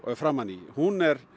framan í hún er